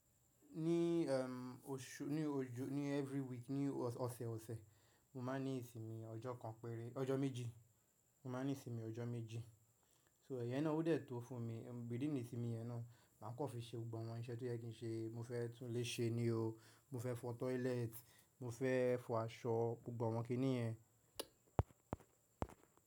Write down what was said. Ní osu ní ojo ní every week ní ọ̀sẹ̀ ọ̀sẹ̀, mo máa ní ìsinmi ọjọ́ kan péré ọjọ́ méjì, mo máa ní ìsinmi ọjọ́ méjì. So ẹ̀yẹn náà ó dè tó fún mi, within ìsinmi yẹn náà, màá kọ́ fi ṣe gbogbo àwọn iṣẹ́ tí ó yẹ kí n ṣe. Mo fẹ́ tún ilé ṣe ni o, mo fẹ́ fọ toilet, mo fẹ́ fọ aṣọ, gbogbo àwọn kí nìyẹn.